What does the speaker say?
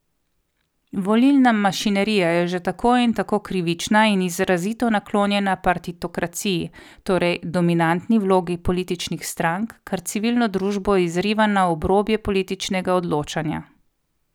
Volilna mašinerija je že tako in tako krivična in izrazito naklonjena partitokraciji, torej dominantni vlogi političnih strank, kar civilno družbo izriva na obrobje političnega odločanja.